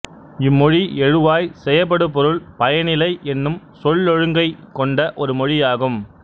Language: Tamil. இம்மொழி எழுவாய் செயப்படுபொருள் பயனிலை என்னும் சொல்லொழுங்கைக் கொண்ட ஒரு மொழியாகும்